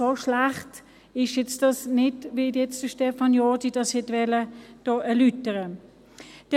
So schlecht ist dies nicht, wie dies Stefan Jordi hier erläutern wollte.